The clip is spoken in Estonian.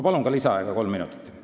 Palun lisaaega kolm minutit!